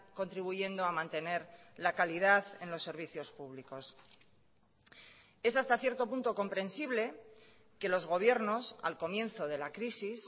contribuyendo a mantener la calidad en los servicios públicos es hasta cierto punto comprensible que los gobiernos al comienzo de la crisis